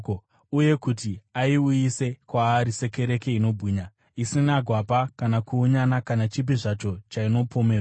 uye kuti ayiuyise kwaari sekereke inobwinya, isina gwapa kana kuunyana kana chipi zvacho chainopomerwa.